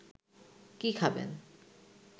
কী খাবেন